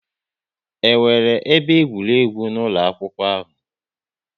E nwere ebe egwuregwu n'ụlọ akwụkwọ ahụ?